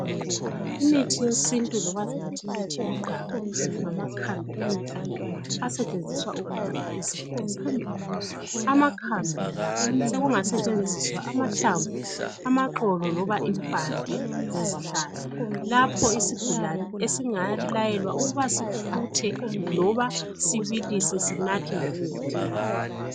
Imithi yesintu loba singathi imithi yomdabu ngamakhambi emvelo asetshenziswa ukwelapha izifo ezehlukeneyo. Amakhambi la sekungasetshenziswa amahlamvu, amaxolo loba impande zezihlahla. Lapho isigulane esingalayelwa ukuba sifuthe loba sibilise sinathe njengetiye.